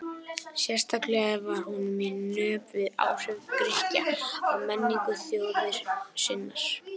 Sérstaklega var honum í nöp við áhrif Grikkja á menningu þjóðar sinnar.